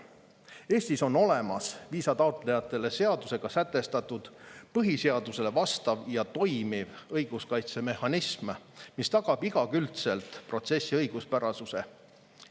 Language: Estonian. Eestis on olemas viisataotlejatele seadusega sätestatud põhiseadusele vastav ja toimiv õiguskaitsemehhanism, mis tagab igakülgselt protsessi õiguspärasuse.